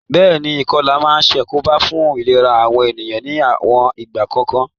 Béèni, ìkolà ma n sàkóbá fun ìlera àwon ènìyàn ni àwon ìgbà kòkan